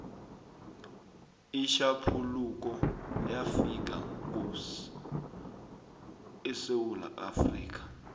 itjhaphuluko yafika ngo esewula afrikha